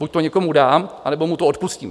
Buď to někomu dám, anebo mu to odpustím.